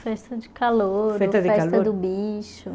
Festa de calouro, festa do bicho.